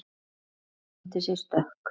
Hann tók undir sig stökk.